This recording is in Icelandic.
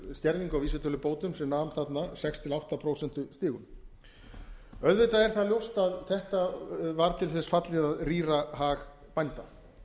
skerðingu á vísitölubótum sem nam þarna sex til átta prósent auðvitað er það ljóst að þetta var til þess fallið að rýra hag bænda